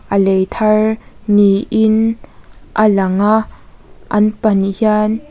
a lei thar ni in a lang a an pahnih hian --